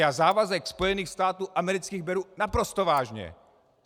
Já závazek Spojených států amerických beru naprosto vážně.